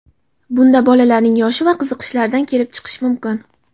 Bunda bolaning yoshi va qiziqishlaridan kelib chiqish mumkin.